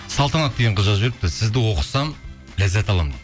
салтанат деген қыз жазып жіберіпті сізді оқысам ләззат аламын